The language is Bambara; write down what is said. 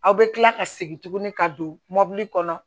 Aw bɛ kila ka segin tuguni ka don mɔbili kɔnɔ